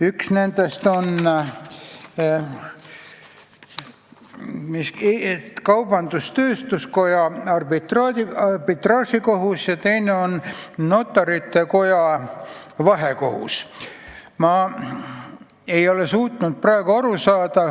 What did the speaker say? Üks nendest on kaubandus-tööstuskoja arbitraažikohus ja teine on notarite koja vahekohus.